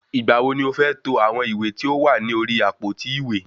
Ìgbà wo ni o fẹ́ to àwọn ìwé tí ó wà ní orí àpótí ìwé?